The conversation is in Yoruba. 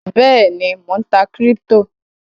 Bẹ́èni, Mó ń tá kíríptò